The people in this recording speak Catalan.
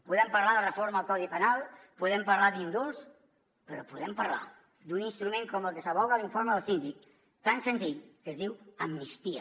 podem parlar de la reforma del codi penal podem parlar d’indults però podem parlar d’un instrument com el que s’advoca a l’informe del síndic tan senzill que es diu amnistia